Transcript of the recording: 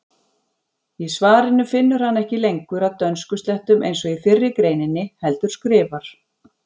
Í svarinu finnur hann ekki lengur að dönskuslettum eins og í fyrri greininni heldur skrifar: